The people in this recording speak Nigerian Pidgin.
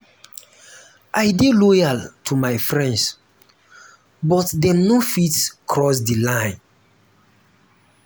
i dey loyal to my friends but dem no fitt cross di line.